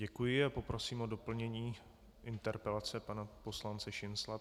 Děkuji a poprosím o doplnění interpelace pana poslance Šincla.